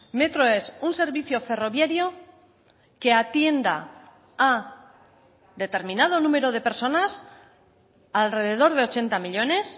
metro es un servicio ferroviario que atienda a determinado número de personas alrededor de ochenta millónes